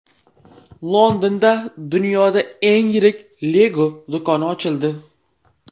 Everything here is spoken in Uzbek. Londonda dunyoda eng yirik Lego do‘koni ochildi.